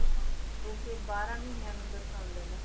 ਹਾਂ ਜੋ ਕਿ ਬਾਰਾਂ ਮਹੀਨਿਆਂ ਨੂੰ ਦਰਸਾਉਂਦੇ ਨੇ।